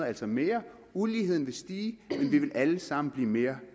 altså mere uligheden vil stige men vi vil alle sammen blive mere